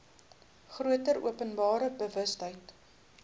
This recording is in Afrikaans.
groter openbare bewustheid